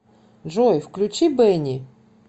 джой включи бени